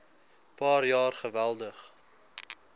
paar jaar geweldig